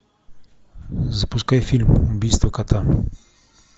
запускай фильм убийство кота